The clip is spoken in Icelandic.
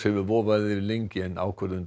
hefur vofað yfir lengi ákvörðun